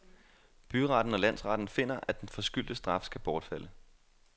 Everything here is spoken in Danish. Byretten og landsretten finder, at den forskyldte straf skal bortfalde.